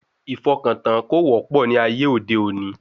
Ìfọkàntán kò wọ́pọ̀ ní ayé òde òní